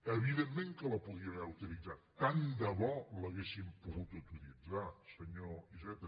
evidentment que la podíem haver utilitzat tant de bo l’haguéssim pogut utilitzar senyor iceta